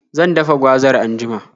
Zan dafa gwazar anjima.